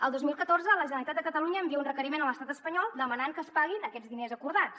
el dos mil catorze la generalitat de catalunya envia un requeriment a l’estat espanyol demanant que es paguin aquests diners acordats